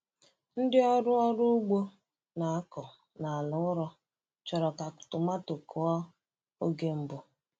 Ndị ọrụ ọrụ ugbo na-akọ n’ala ụrọ chọrọ ka tomato kụọ oge mbụ.